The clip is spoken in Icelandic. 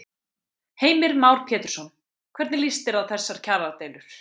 Heimir Már Pétursson: Hvernig lýst þér á þessar kjaradeilur?